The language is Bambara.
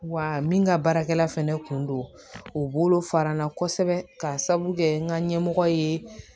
Wa min ka baarakɛla fɛnɛ kun don o bolo fara n na kosɛbɛ ka sabu kɛ n ka ɲɛmɔgɔ ye